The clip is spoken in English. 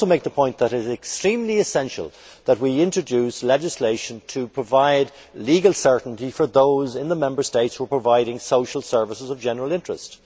Could I also make the point that it is extremely essential that we introduce legislation to provide legal certainty for those in the Member States who provide social services of general interest?